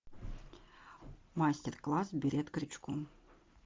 мастер класс берет крючком